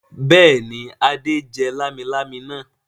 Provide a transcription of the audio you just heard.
Bẹ́ẹ̀ ni, Adé jẹ lámilámi náà.